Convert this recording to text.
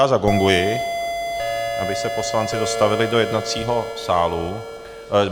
Já zagonguji, aby se poslanci dostavili do jednacího sálu.